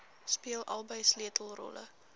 speel albei sleutelrolle